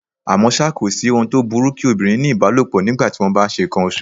À mọ́ ṣá, kòsí ohun tó burú kí obìnrin ní ìbálòpọ̀ ní ìgbà tí wón bá ńṣe ǹkan oṣù.